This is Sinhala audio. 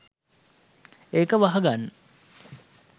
ඒක වහගන්න